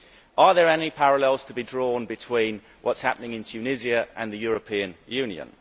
Are there any parallels to be drawn between what is happening in Tunisia and the European Union?